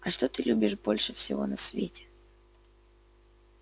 а что ты любишь больше всего на свете